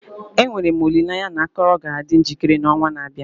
Enwere m olileanya na akọrọ ga-adị njikere n'ọnwa na-abịa.